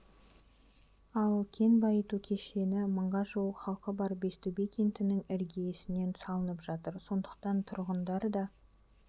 ал кен байыту кешені мыңға жуық халқы бар бестөбе кентінің іргесінен салынып жатыр сондықтан тұрғындар да